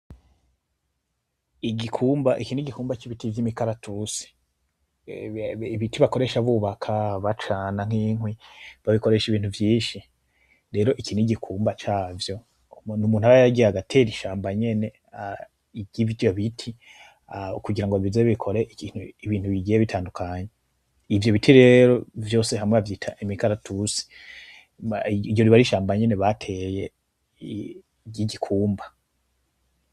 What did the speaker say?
Igikumba, iki nigikumba cibiti vyimikaratusi, ibiti bakoresha bubaka, bacana nkikwi, babikoresha ibintu vyinshi. Rero iki nigikumba cavyo, numuntu aba yaragiye agatera ishamba nyene yivyo biti kugira bizokore ibintu bigiye bitandukanye, ivyo biti rero vyose hamwe bavyita imikaratusi, iryo aba ari shamba bateye ryigikumba.